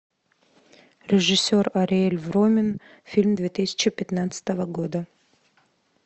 режиссер ариэль вромен фильм две тысячи пятнадцатого года